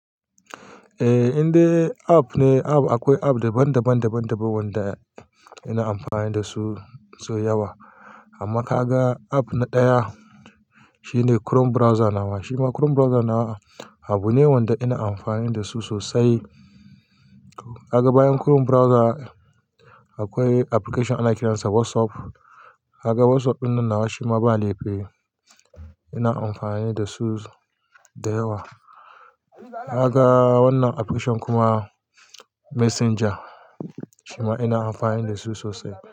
Eh, indai app ne. App akwai app daban-daban- daban wanda muna amfani da su sau yawa. Amma ka ga app ɗaya shine Chrome browser na wa. Shima Chrome browser nawa abu ne wanda ina amfani da su sosai. Ka ga bayan Chrome browser akwai application ana kiransa WhatsApp. Ka ga WhatsApp ɗin nan na wa shima ba laifi ina amfani da su da yawa. Ka ga wannan application kuma messenger shima ina amfani da su sosai.